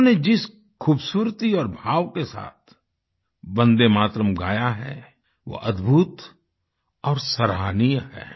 इन्होंने जिस खूबसूरती और भाव के साथ वंदे मातरम् गाया है वो अद्भुत और सराहनीय है